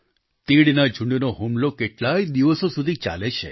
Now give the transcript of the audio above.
તીડના ઝૂંડનો હુમલો કેટલાય દિવસો સુધી ચાલે છે